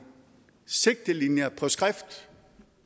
sigtelinjer på skrift